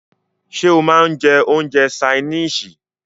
Ṣé o máà ń jẹ́ oúnjẹ ṣaínìisì?